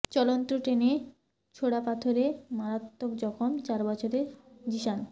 চলন্ত ট্রেনে ছোড়া পাথরে মারাত্মক জখম চার বছরের জিসান